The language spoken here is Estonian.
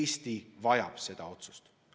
Eesti vajab seda otsust.